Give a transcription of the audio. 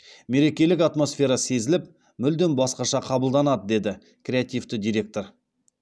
мерекелік атмосфера сезіліп мүлдем басқаша қабылданады деді креативті директор